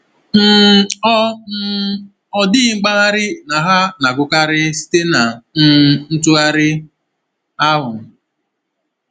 um Ọ um Ọ dịghị mgbagha na ha na-agụkarị site na um ntụgharị ahụ.